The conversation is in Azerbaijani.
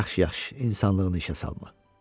Yaxşı, yaxşı, insanlığını işə salma.